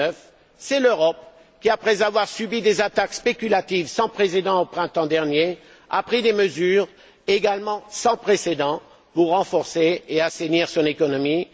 2009. C'est l'Europe qui, après avoir subi des attaques spéculatives sans précédent au printemps dernier, a pris des mesures également sans précédent pour renforcer et assainir son économie.